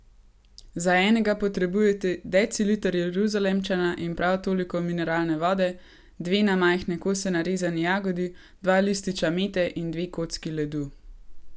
Za enega potrebujete deciliter jeruzalemčana in prav toliko mineralne vode, dve na majhne kose narezani jagodi, dva lističa mete in dve kocki ledu.